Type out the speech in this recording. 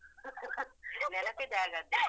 ನೆನಪಿದೆ ಹಾಗಾದ್ರೆ